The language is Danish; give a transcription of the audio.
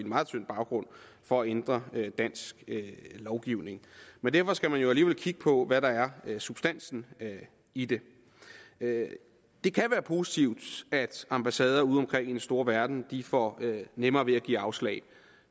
meget tynd baggrund for at ændre dansk lovgivning men derfor skal man jo alligevel kigge på hvad der er af substans i det det kan være positivt at ambassader udeomkring i den store verden får nemmere ved at give afslag